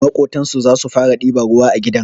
Maƙotansu zasu fara ɗiban ruwa a gidan